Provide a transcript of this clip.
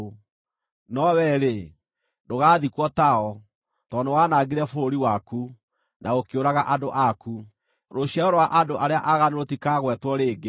no wee-rĩ, ndũgaathikwo tao, tondũ nĩwaanangire bũrũri waku, na ũkĩũraga andũ aku. Rũciaro rwa andũ arĩa aaganu rũtikaagwetwo rĩngĩ.